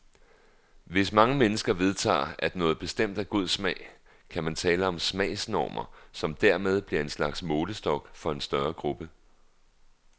Hvis mange mennesker vedtager at noget bestemt er god smag, kan man tale om smagsnormer, som dermed bliver en slags målestok for en større gruppe.